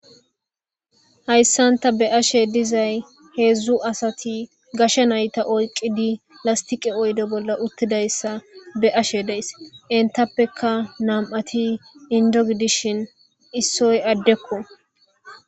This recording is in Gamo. hayssanta be'ashe dizay heedzdzu asati gasha nayta oyqidi lastiqe oydo bolla uttidayssa be ashe deys entappeka nam7ati indog dishin issoy addekko